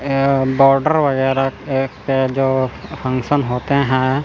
ये बॉर्डर वगैरा एक पे जो फंक्शन होते है--